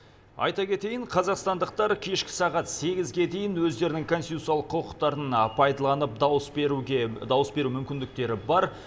айта кетейін қазақстандықтар кешкі сағат сегізге дейін өздерінің конституциялық құқықтарын пайдаланып дауыс беру мүмкіндіктері бар